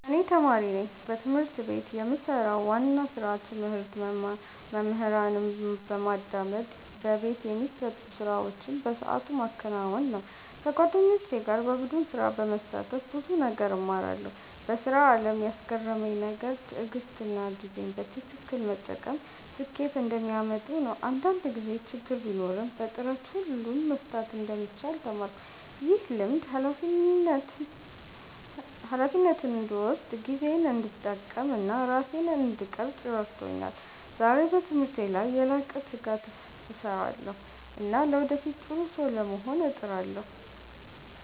እኔ ተማሪ ነኝ። በትምህርት ቤት የምሰራው ዋና ስራ ትምህርት መማር፣ መምህራንን በማዳመጥ በቤት የሚሰጡ ስራዎችን በሰዓቱ ማከናወን ነው። ከጓደኞቼ ጋር በቡድን ስራ በመሳተፍ ብዙ ነገር እማራለሁ። በስራ አለም ያስገረመኝ ነገር ትዕግሥትና ጊዜን በትክክል መጠቀም ስኬት እንደሚያመጡ ነው። አንዳንድ ጊዜ ችግር ቢኖርም በጥረት ሁሉን መፍታት እንደሚቻል ተማርኩ። ይህ ልምድ ሃላፊነትን እንድወስድ፣ ጊዜዬን እንድጠቀም እና ራሴን እንድቀርፅ ረድቶኛል። ዛሬ በትምህርቴ ላይ በላቀ ትጋት እሰራለሁ እና ለወደፊት ጥሩ ሰው ለመሆን እጥራለሁ።